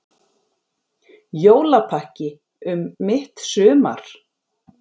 Jólapakki um mitt sumar